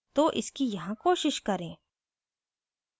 तो इसकी यहाँ कोशिश करें